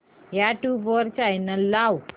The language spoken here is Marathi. यूट्यूब चॅनल लाव